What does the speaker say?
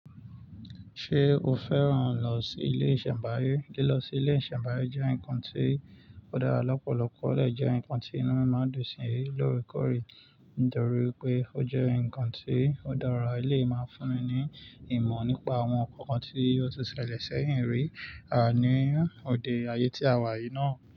Ṣé o fẹ́ràn lọ sí ilé ìṣẹ̀nbáyé? Lílọ sí ilé ìṣẹ̀nbáyé jẹ́ nǹkan tí ó dára lọ́pọ̀lọpọ̀, ó dẹ̀ jẹ́ nǹkan tí inú mi máa dùn sí ní lóòrèkóòrè. Nítorí pé ó jẹ́ nǹkan tí ó dára, eléyìí máa fún mi ní ìmọ̀ nípa àwọn nnkan tí óò ti ṣẹlẹ̀ sẹ́yìn rí à ní òde ayé tí a wà yìí náà.